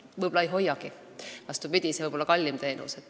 Võib-olla ei hoiagi, see teenus võib olla kallim.